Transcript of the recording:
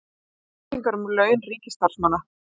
Upplýsingar um laun ríkisstarfsmanna